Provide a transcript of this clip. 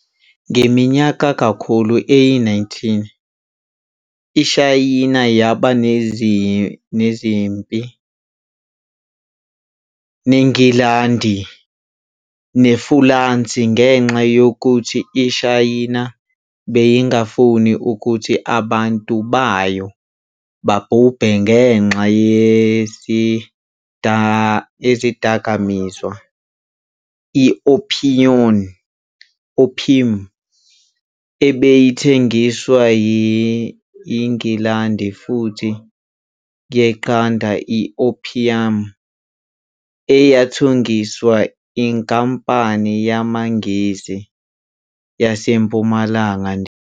Ngeminyakakhulu eyi-19, iShayina yabanezimipi neNgilandi neFulansi ngenxa yokuthi iShayina beyingafuni ukuthi abantu bayo babhubhe ngenxa yesidagamiswa i-opium ebeyithengiswa yiNgilandi futhi yaqeda i-opium eyathengiswa iNkampani yamaNgisi yaseMpumalanga Ndiya.